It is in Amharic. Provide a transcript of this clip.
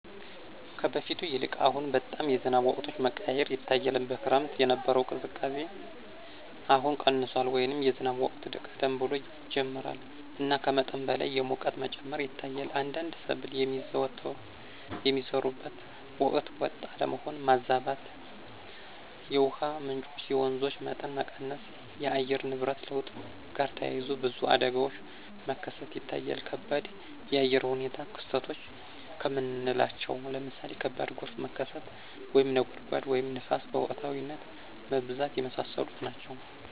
ከበፊቱ ይልቅ አሁን በጣም የዝናብ ወቅቶች መቀያየር ይታያል። በክረምት የነበረው ቅዝቃዜ አሁን ቀንሷል” ወይም “የዝናብ ወቅት ቀደም ብሎ ይጀምራል እና ከመጠን በላይ የሙቀት መጨመር ይታያል። አንዳንድ ሰብል የሚዘሩበት ወቅት ወጥ አለመሆን (ማዛባት)።የውሃ ምንጮች (የወንዞች) መጠን መቀነስ። ከአየር ንብረት ለውጥ ጋር ተያይዞ ብዙ አደጋዎች መከሰት ይታያል ከባድ የአየር ሁኔታ ክስተቶች ከምናለቸው ለምሳሌ ከባድ ጎርፍ መከሰት፣ (ነጎድጓድ) ወይም ንፋስ በወቅታዊነት መብዛት። የመሳሰሉት ናቸው።